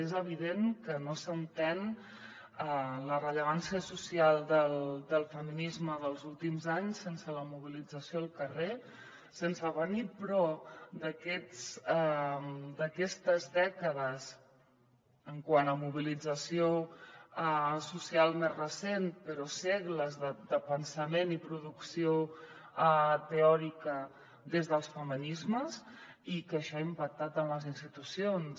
és evident que no s’entén la rellevància social del feminisme dels últims anys sense la mobilització al carrer sense venir però d’aquestes dècades quant a mobilització social més recent però segles de pensament i producció teòrica des dels feminismes i que això ha impactat en les institucions